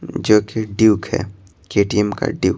जो कि ड्यूक है के_टी_एम का ड्यूक --